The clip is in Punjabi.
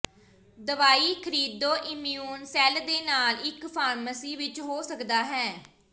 ਦਵਾਈ ਖਰੀਦੋ ਇਮਿਊਨ ਸੈੱਲ ਦੇ ਨਾਲ ਇੱਕ ਫਾਰਮੇਸੀ ਵਿੱਚ ਹੋ ਸਕਦਾ ਹੈ